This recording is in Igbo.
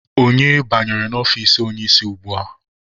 Onye banyere n'ọfici onye isi ugbua?